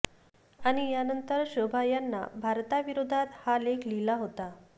आणि यानंतर शोभा यांना भारताविरोधात हा लेख लिहिला होता